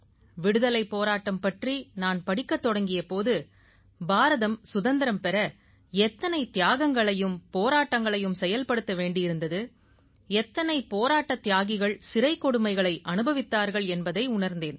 விடுதலைப் போராட்டம் பற்றி நான் படிக்கத் தொடங்கிய போது பாரதம் சுதந்திரம் பெற எத்தனை தியாகங்களையும் போராட்டங்களையும் செயல்படுத்த வேண்டியிருந்தது எத்தனை போராட்டத் தியாகிகள் சிறைக் கொடுமைகளை அனுபவித்தார்கள் என்பதை உணர்ந்தேன்